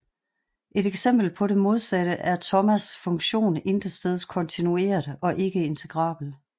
Et eksempel på det modsatte er Thomaes funktion intetsteds kontinuert og ikke integrabel